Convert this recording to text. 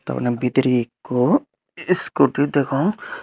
doganow bidiray eko iskuti degong.